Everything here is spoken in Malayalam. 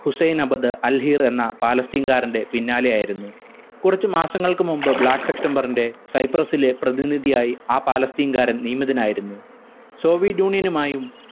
ഹുസ്സൈൻ അബദ് അൽ ഹീർ എന്ന പാലസ്തീൻകാരന്റെ പിന്നാലെയായിരുന്നു. കുറച്ചു മാസങ്ങൾക്കു മുമ്പ് black september ന്റെ സൈപ്രസ്സിലെ പ്രതിനിധിയായി ആ പലസ്തീൻകാരൻ നിയമിതനായിരുന്നു സോവിടൂണിനുമായും